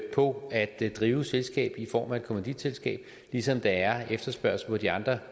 på det at drive et selskab i form af et kommanditselskab ligesom der er en efterspørgsel på de andre